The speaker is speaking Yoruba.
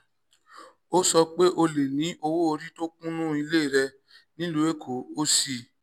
ó sọ pé: o lè ní owó orí tó kúnnú ilé rẹ nílùú èkó ó sì